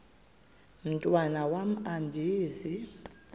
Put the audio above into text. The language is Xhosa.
mntwan am andizi